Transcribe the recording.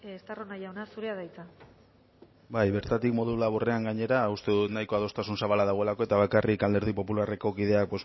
estarrona jauna zurea da hitza bai bertatik modu laburrean gainera uste dut nahiko adostasun zabala dagoelako eta bakarrik alderdi popularreko kideak